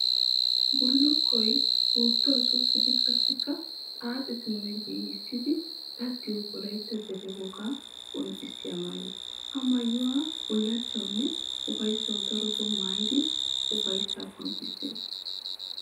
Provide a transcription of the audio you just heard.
Bulukkoy puutuwa suqiddi qassikka xaaxxidinne giigissiddi daddiyo wolaytta deriya wogaa qonccisiya maayo. Ha maayuwa bulachchawunne ufayssawu daroto maayiddi ufayssa qoncciseetes.